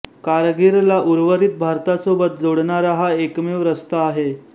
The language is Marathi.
कारगीलला उर्वरित भारतासोबत जोडणारा हा एकमेव रस्ता आहे